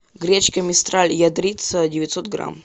гречка мистраль ядрица девятьсот грамм